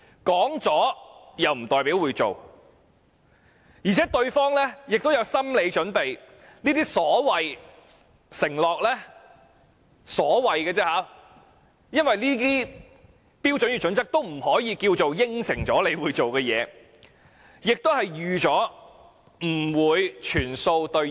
說了不代表會做，而且對方亦有心理準備，這些所謂承諾只是說說而已，因為《規劃標準》並非等於當局的承諾，市民亦預計不會全數兌現。